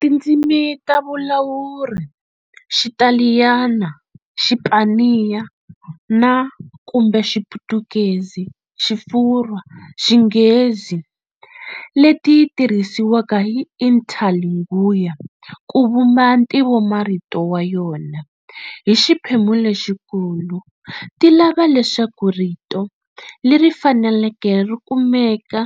Tindzimi ta vulawuri Xitaliyana, Xipaniya na kumbe Xiputukezi, Xifurwa, Xinghezi, leti tirhisiwaka hi Interlingua ku vumba ntivomarito wa yona hi xiphemu lexikulu ti lava leswaku rito leri faneleke ri kumeka